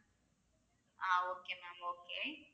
ah okay ma'am okay